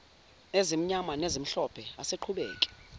ezimnyama nezimhlophe asiqhubeke